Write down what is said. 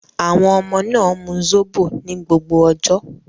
Àwọn ọmọ náà mu Zobo ní gbogbo ọjọ́.